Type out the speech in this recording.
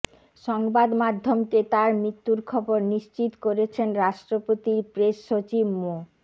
সংবাদমাধ্যমকে তার মৃত্যুর খবর নিশ্চিত করেছেন রাষ্ট্রপতির প্রেস সচিব মো